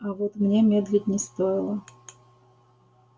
а вот мне медлить не стоило